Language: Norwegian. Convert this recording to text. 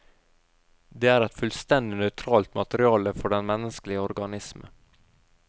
Det er et fullstendig nøytralt materiale for den menneskelige organisme.